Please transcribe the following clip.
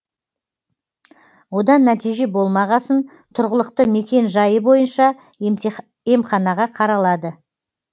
одан нәтиже болмағасын тұрғылықты мекен жайы бойынша емханаға қаралады